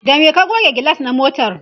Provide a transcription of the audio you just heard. da me ka goge gilas na motar?